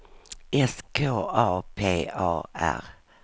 S K A P A R